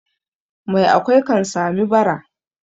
Mai akwai kan sami bara.